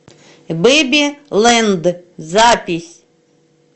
бэби лэнд запись